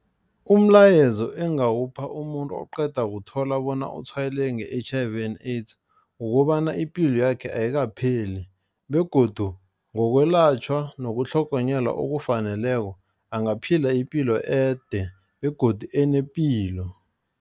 Umlayezo engawupha umuntu oqeda kuthola bona utshwayeleke nge-H_I_V and AIDS kukobana ipilo yakhe ayikapheli begodu ngokwelatjhwa nokutlhogonyelwa okufaneleko angaphila ipilo ede begodu enepilo.